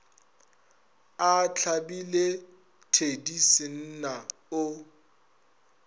a hlabile thedi senna o